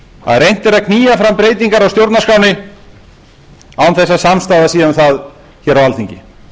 að reynt er að knýja fram breytingar á stjórnarskránni án þess að samstaða sé um það hér á alþingi